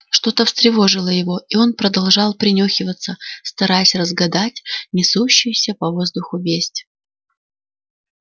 что то встревожило его и он продолжал принюхиваться стараясь разгадать несущуюся по воздуху весть